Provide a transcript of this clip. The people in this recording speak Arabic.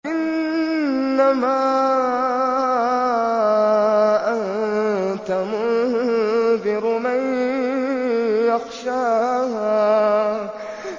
إِنَّمَا أَنتَ مُنذِرُ مَن يَخْشَاهَا